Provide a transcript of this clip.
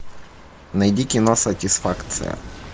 найди кино сатисфакция